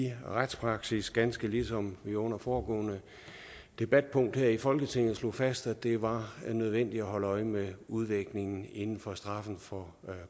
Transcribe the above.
retspraksis ganske ligesom vi under det foregående debatpunkt her i folketinget slog fast at det var nødvendigt at holde øje med udviklingen inden for straffen for